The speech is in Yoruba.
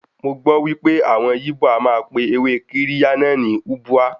Mọ gbọ́ pé àwọn yíbò a máa pe ewé Kirya náà ní Ubwa.